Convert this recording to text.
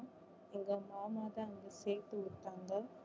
எங்க மாமா தான் அங்க சேர்த்து விட்டாங்க